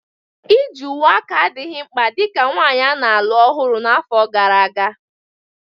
Iji uwe aka adịghị mkpa dị ka nwanyị a na-alụ ọhụrụ na afọ gara aga.